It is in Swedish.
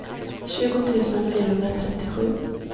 tjugo tusen fyrahundratrettiosju